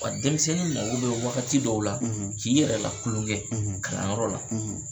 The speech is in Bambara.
Wa denmisɛnninw mago bɛ wagati dɔw la , k'i yɛrɛ la kulonkɛ kalan yɔrɔ la